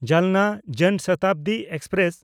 Jalna Jan Shatabdi express